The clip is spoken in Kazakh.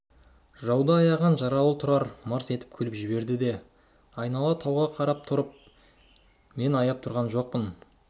жауды аяған жаралы тұрар мырс етіп күліп жіберді айнала тауға қарап тұрып мен аяп тұрған жоқпын